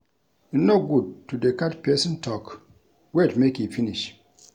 E no good to dey cut pesin tok, wait make e finish.